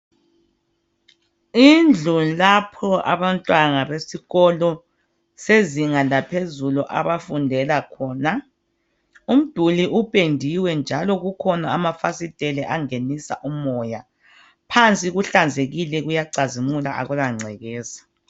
Indlu lapho abantwana besikolo sezinga laphezulu lapha abafundele khona. Umduli upendiwe njalo kukhona amafasiteli angenisa umoya. Phansi kuhlanzekile kuyacazimula akula ngcekeza.